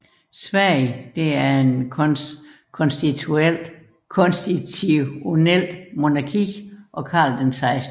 Sverige er et konstitutionelt monarki og Carl 16